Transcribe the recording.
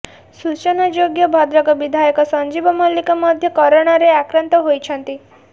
ସୂଚନାଯୋଗ୍ୟ ଭଦ୍ରକ ବିଧାୟକ ସଞ୍ଜୀବ ମଲ୍ଲିକ ମଧ୍ୟ କରୋନାରେ ଆକ୍ରାନ୍ତ ହୋଇଛନ୍ତି